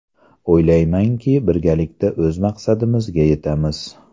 O‘ylaymanki, birgalikda o‘z maqsadimizga yetamiz.